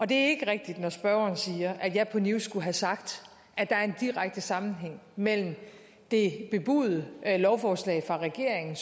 det er ikke rigtigt når spørgeren siger at jeg på news skulle have sagt at der er en direkte sammenhæng mellem det bebudede lovforslag fra regeringen